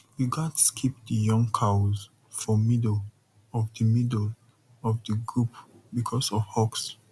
you gats keep the young cows for middle of the middle of the group because of hawks